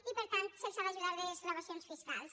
i per tant se’ls ha d’ajudar amb desgravacions fiscals